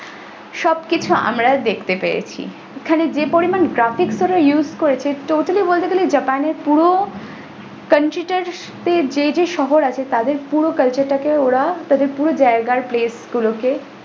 সবকিছু আমরা দেখতে পেয়েছি ওখানে যে পরিমান graphics তারা use করেছে totally বলতে গেলে japan এর পুরো country টা তে যে যে শহর আছে তাদের পুরো culture টা কে তাদের পুরো জায়গার place গুলোকে।